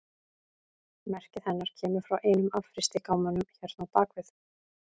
Merkið hennar kemur frá einum af frystigámunum hérna á bak við.